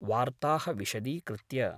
वार्ताः विशदीकृत्य।